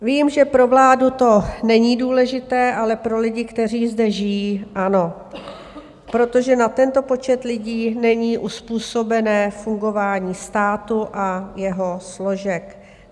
Vím, že pro vládu to není důležité, ale pro lidi, kteří zde žijí, ano, protože na tento počet lidí není uzpůsobené fungování státu a jeho složek.